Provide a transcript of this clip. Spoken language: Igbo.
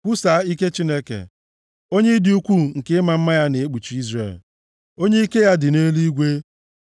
Kwusaa ike Chineke, onye ịdị ukwuu nke ịma mma ya na-ekpuchi Izrel, onye ike ya dị nʼeluigwe.